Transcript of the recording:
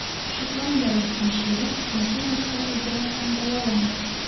Shotlandiyalik hamshira ikkinchi marta Eboladan davolandi.